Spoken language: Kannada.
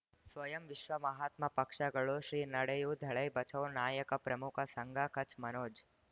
ಸ್ವಯಂ ವಿಶ್ವ ಮಹಾತ್ಮ ಪಕ್ಷಗಳು ಶ್ರೀ ನಡೆಯೂ ದಲೈ ಬಚೌ ನಾಯಕ ಪ್ರಮುಖ ಸಂಘ ಕಚ್ ಮನೋಜ್